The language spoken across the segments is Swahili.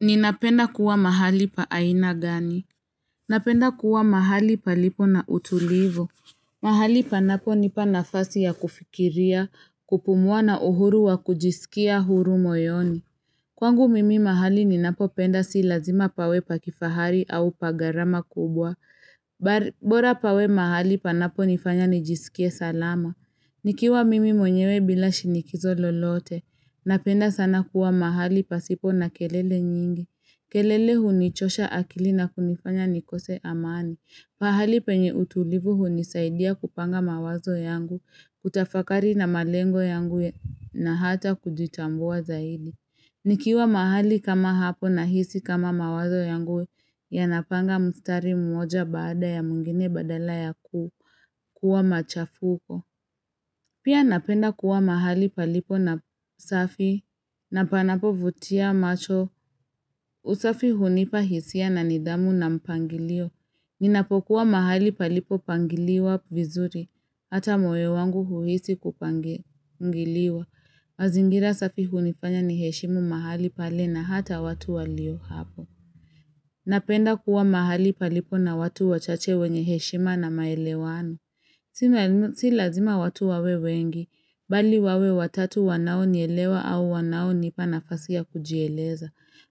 Ninapenda kuwa mahali pa aina gani? Napenda kuwa mahali palipo na utulivu. Mahali panaponipa nafasi ya kufikiria, kupumua na uhuru wa kujisikia huru moyoni. Kwangu mimi mahali ninapopenda si lazima pawe pa kifahari au pa garama kubwa. Bora pawe mahali panaponifanya nijisikie salama. Nikiwa mimi mwenyewe bila shinikizo lolote. Napenda sana kuwa mahali pasipo na kelele nyingi. Kelele hunichosha akili na kunifanya nikose amani. Pahali penye utulivu hunisaidia kupanga mawazo yangu, kutafakari na malengo yangu na hata kujitambua zaidi. Nikiwa mahali kama hapo na hisi kama mawazo yangu yanapanga mstari mmoja baada ya mwingine badala ya kuwa machafuko. Pia napenda kuwa mahali palipo na usafi na panapovutia macho. Usafi hunipa hisia na nidhamu na mpangilio. Ninapokuwa mahali palipo pangiliwa vizuri. Hata moyo wangu huisi kupangiliwa. Mazingira safi hunifanya niheshimu mahali pali na hata watu walio hapo. Napenda kuwa mahali palipo na watu wachache wenye heshima na maelewano. Si lazima watu wawe wengi, bali wawe watatu wanaonielewa au wanaonipa nafasia ya kujieleza.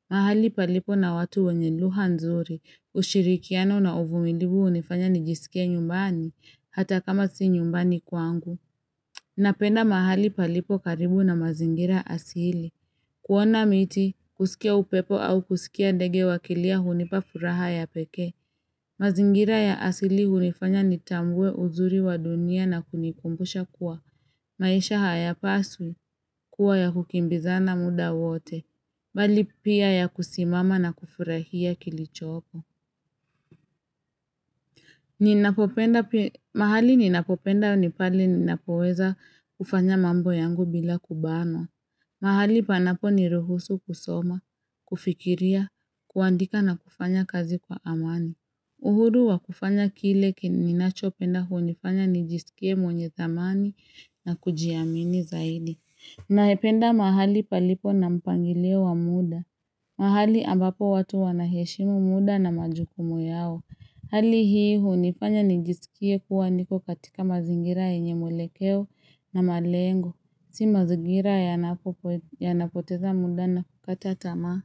Mahali palipo na watu wenye lugha nzuri, ushirikiano na uvumilivu hunifanya nijisikie nyumbani, hata kama si nyumbani kwangu. Napenda mahali palipo karibu na mazingira asili. Kuona miti, kusikia upepo au kusikia dege wakilia hunipa furaha ya peke. Mazingira ya asili hunifanya nitambue uzuri wa dunia na kunikumbusha kuwa maisha hayapaswi kuwa ya kukimbizana muda wote. Bali pia ya kusimama na kufurahia kilichopo. Mahali ninapopenda ni pale ninapoweza kufanya mambo yangu bila kubanwa. Mahali panaponiruhusu kusoma, kufikiria, kuandika na kufanya kazi kwa amani. Uhuru wa kufanya kile ninachopenda hunifanya nijisikie mwenye thamani na kujiamini zaidi. Naependa mahali palipo na mpangile wa muda. Mahali abapo watu wanaheshimu muda na majukumu yao. Hali hii hunifanya nijisikie kuwa niko katika mazingira yenye mwelekeo na malengo. Si mazingira yanapoteza muda na kukata tama.